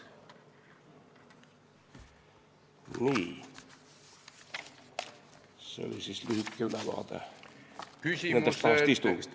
Nii, see oli lühike ülevaade nendest kahest istungist.